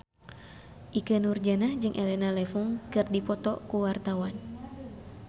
Ikke Nurjanah jeung Elena Levon keur dipoto ku wartawan